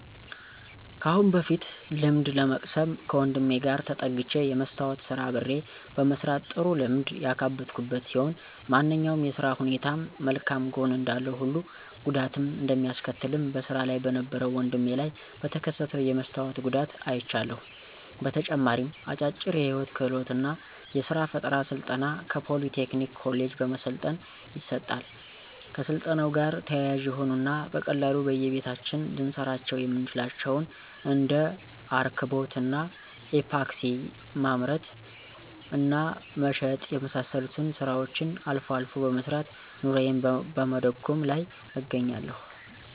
ከአሁን በፊት ልምድ ለመቅሰም ከወንድሜ ጋር ተጠግቸ የመስታዎት ስራ አብሬ በመስራት ጥሩ ልምድ ያካበትኩበት ሲሆን ማንኛውም የስራ ሁኔታም መልካም ጎን እንዳለው ሁሉ ጉዳትም እንደሚያስከትልም በስራ ላይ በነበረው ወድሜ ላይ በተከሰተው የመስታወት ጉዳት አይቻለሁ። በተጨማሪም አጫጭር የህይወት ክህሎት እና የስራ ፈጠራ ስልጠና ከፖሊ ቴክኒክ ኮሌጅ በመሰልጠን ይሰጣል። ከስልጠናው ጋር ተያያዥ የሆኑ እና በቀላሉ በየቤታችን ልንሰራቸው የምንችላቸውን እንደ እርክቦት እና ኢፓክሲ ማምረት እና መሸጥ የመሳሰሉትን ስራዎችን አልፎ አልፎ በመስራት ኑሮየን በመደጎም ላይ እገኛለሁ።